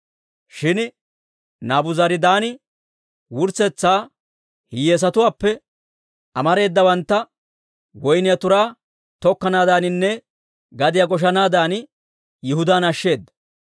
Shin Naabuzaradaani wurssetsa hiyyeesatuwaappe amareedawantta woyniyaa turaa tokkanaadaaninne gadiyaa goshanaadan Yihudaan ashsheeda.